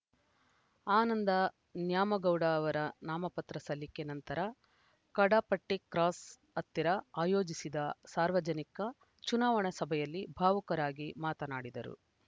ಆನಂದ ನ್ಯಾಮಗೌಡ ಅವರ ನಾಮಪತ್ರ ಸಲ್ಲಿಕೆ ನಂತರ ಕಡಪಟ್ಟಿಕ್ರಾಸ್‌ ಹತ್ತಿರ ಆಯೋಜಿಸಿದ ಸಾರ್ವಜನಿಕ ಚುನಾವಣಾ ಸಭೆಯಲ್ಲಿ ಭಾವುಕರಾಗಿ ಮಾತನಾಡಿದರು